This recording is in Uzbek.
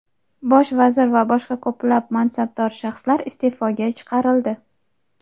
Bosh vazir va boshqa ko‘plab mansabdor shaxslar iste’foga chiqarildi.